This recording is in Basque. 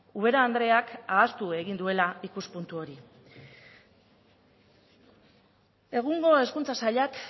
ubera andreak ahaztu egin duela ikuspuntu hori egungo hezkuntza sailak